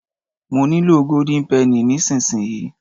mo nilo golden penny nisinsinyi